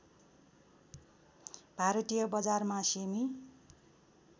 भारतीय बजारमा सेमि